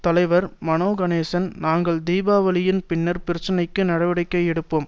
தலைவர் மனோ கனேசன் நாங்கள் தீபாவளியின் பின்னர் பிரச்சினைக்கு நடவடிக்கை எடுப்போம்